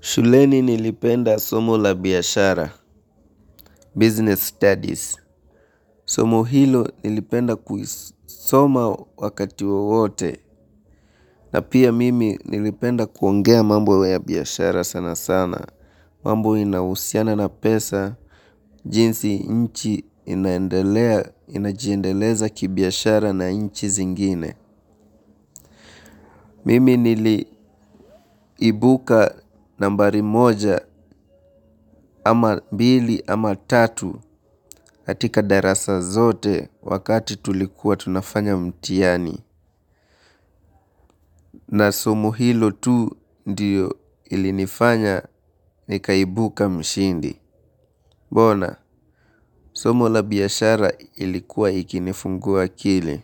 Shuleni nilipenda somo la biyashara, business studies. Somo hilo nilipenda kuisoma wakati wowote. Na pia mimi nilipenda kuongea mambo ya biyashara sana sana. Mambo inawusiana na pesa, jinsi inchi inaendelea, inajendeleza ki biyashara na inchi zingine. Mimi niliibuka nambari moja ama mbili ama tatu katika darasa zote wakati tulikuwa tunafanya mtiani na somo hilo tu ndio ilinifanya nikaibuka mshindi. Mbona somo la biashara ilikuwa ikinifungua akili.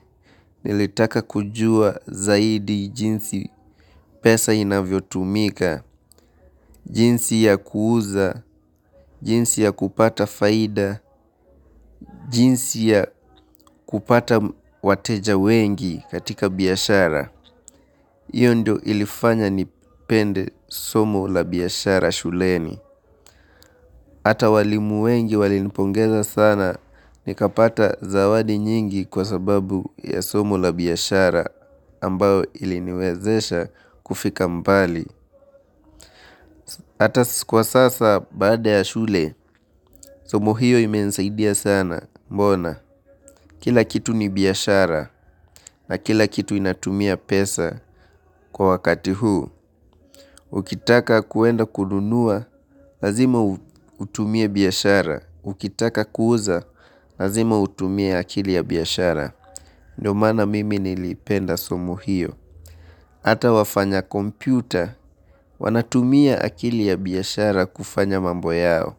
Nilitaka kujua zaidi jinsi pesa inavyo tumika, jinsi ya kuuza, jinsi ya kupata faida, jinsi ya kupata wateja wengi katika biyashara. Iyo ndio ilifanya nipende somo la biyashara shuleni. Hata walimu wengi walinipongeza sana nikapata zawadi nyingi kwa sababu ya somo la biyashara ambao iliniwezesha kufika mbali. Hata sikuwa sasa baada ya shule, somo hiyo ime nsaidia sana mbona. Kila kitu ni biyashara na kila kitu inatumia pesa kwa wakati huu. Ukitaka kuenda kununua, lazima utumie biyashara. Ukitaka kuuza lazima utumie akili ya biyashara. Ndiyo mana mimi nilipenda somo hiyo. Ata wafanya kompyuta, wanatumia akili ya biyashara kufanya mambo yao.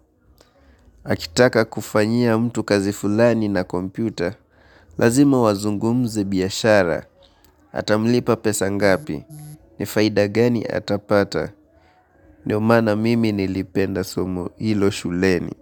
Akitaka kufanyia mtu kazi fulani na kompyuta, lazima wazungumze biyashara, atamlipa pesa ngapi, nifaida gani atapata, ndiyo mana mimi nilipenda somo hilo shuleni.